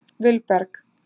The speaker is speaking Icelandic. Vilberg